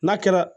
N'a kɛra